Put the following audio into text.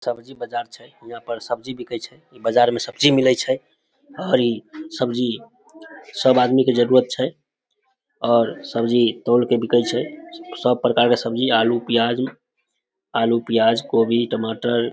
सब्जी बाजार छै हीया पर सब्जी बिके छै इ बाजार में सब्जी मिले छै और इ सब्जी सब आदमी के जरूरत छै और सब्जी तौल के बिके छै सब प्रकार के सब्जी आलू प्याज आलू प्याज कोभी टमाटर ।